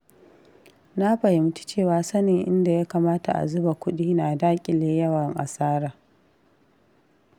Na fahimci cewa sanin inda ya kamata a zuba kuɗi na daƙile yawan asara.